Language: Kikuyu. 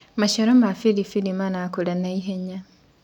maciaro ma biribiri marakura naihenya